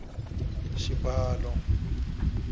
xibalo